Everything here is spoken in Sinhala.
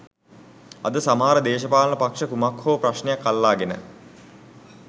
අද සමහර දේශපාලන පක්ෂ කුමක් හෝ ප්‍රශ්නයක් අල්ලාගෙන